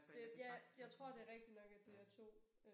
Det ja jeg tror det rigtigt nok at det er 2 øh